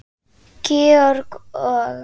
Georg og